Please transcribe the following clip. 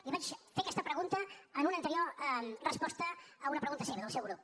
li vaig fer aquesta pregunta en una anterior resposta a una pregunta seva del seu grup